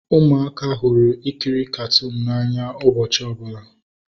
Ụmụaka hụrụ ikiri katuunu n'anya ụbọchị ọbụla